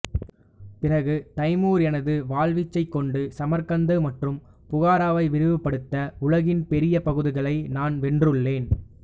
பிறகு தைமூர் எனது வாள் வீச்சைக்கொண்டு சமர்கந்து மற்றும் புகாராவை விரிவுபடுத்த உலகின் பெரிய பகுதிகளை நான் வென்றுள்ளேன்